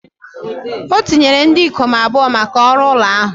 O tinyere ndị ikom abụọ maka ọrụ ụlọ ahụ